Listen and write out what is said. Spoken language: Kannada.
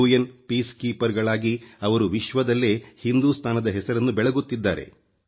ಶಾಂತಿದೂತರುಗಳಾಗಿ ಅವರು ವಿಶ್ವದಲ್ಲೇ ಹಿಂದೂಸ್ತಾನದ ಹೆಸರನ್ನು ಬೆಳಗುತ್ತಿದ್ದಾರೆ